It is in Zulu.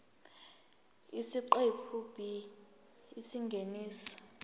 isiqephu b isingeniso